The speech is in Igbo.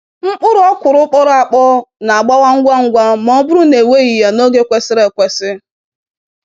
Mkpụrụ okwuru kpọrọ akpọ n'agbawa ngwa ngwa ma ọ bụrụ na e weghị ya n'oge kwesịrị ekwesị.